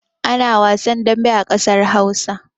Ana wasan dambe a ƙasar Hausa.